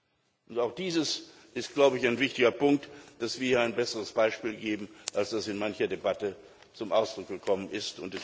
Und es ist auch ein wichtiger Punkt, dass wir ein besseres Beispiel geben, als es in mancher Debatte zum Ausdruck gekommen ist.